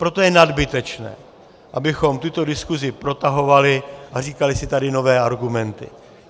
Proto je nadbytečné, abychom tuto diskuzi protahovali a říkali si tady nové argumenty.